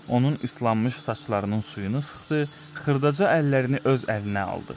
Onun islanmış saçlarının suyunu sıxdı, xırdaca əllərini öz əlinə aldı.